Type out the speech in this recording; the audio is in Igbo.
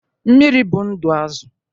Mmiri bụ ndụ Azụ.